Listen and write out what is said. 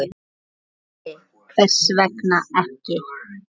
Sindri: Hvers vegna ekki?